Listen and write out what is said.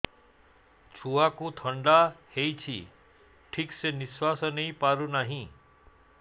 ଛୁଆକୁ ଥଣ୍ଡା ହେଇଛି ଠିକ ସେ ନିଶ୍ୱାସ ନେଇ ପାରୁ ନାହିଁ